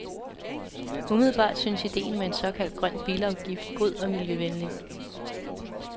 Umiddelbart synes ideen med en såkaldt grøn bilafgift god og miljøvenlig.